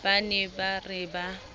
ba ne ba re ba